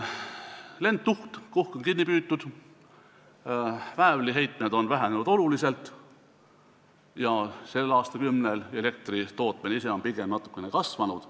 Lendtuhk on kinni püütud, väävliheitmed on oluliselt vähenenud, kuigi sel aastakümnel on elektritootmine ise pigem natukene kasvanud.